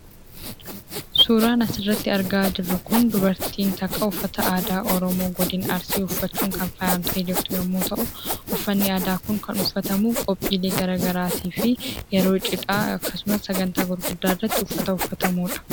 Suuraan as irratti argaa jirru Kun dubartii tokko uffata aadaa Oromoo Arsii uffattee kan faayyamte yammuu ta'u; uffanni aadaa kun kan uffatamu qophiilee aadaa garaa garii fi yeroo cidhaa akkasumas sagntaalee gurguddaa irratti kan uffatamuu dha.